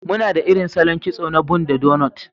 Muna da irin salon kitso na bun da doughnuts.